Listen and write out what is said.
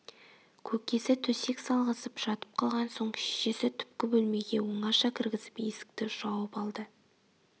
көкесі төсек салғызып жатып қалған соң шешесі түпкі бөлмеге оңаша кіргізіп есікті жауып алды